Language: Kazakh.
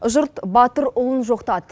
жұрт батыр ұлын жоқтады